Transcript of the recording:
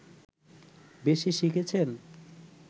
বেশি শিখেছেন